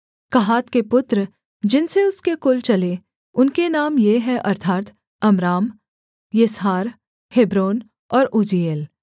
कहात के पुत्र जिनसे उसके कुल चले उनके नाम ये हैं अर्थात् अम्राम यिसहार हेब्रोन और उज्जीएल